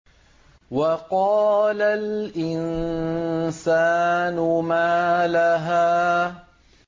وَقَالَ الْإِنسَانُ مَا لَهَا